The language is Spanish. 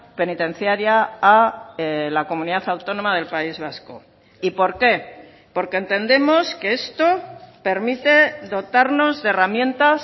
penitenciaria a la comunidad autónoma del país vasco y por qué porque entendemos que esto permite dotarnos de herramientas